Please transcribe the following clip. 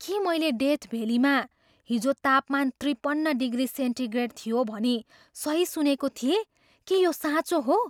के मैले डेथ भेल्लीमा हिजो तापमान त्रिपन्न डिग्री सेन्टिग्रेड थियो भनी सही सुनेको थिएँ के यो साँचो हो?